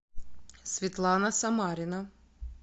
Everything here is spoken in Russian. светлана самарина